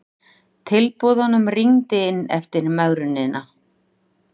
Tilboðunum rignir inn eftir megrunina